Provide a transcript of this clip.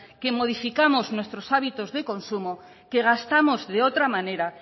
que modificamos nuestros hábitos de consumo que gastamos de otra manera